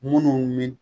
Munnu mi